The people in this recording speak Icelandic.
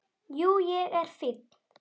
Jú, ég er fínn.